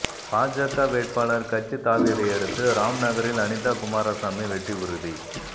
பாஜக வேட்பாளர் கட்சித் தாவியதையடுத்து ராம்நகரில் அனிதா குமாரசாமி வெற்றி உறுதி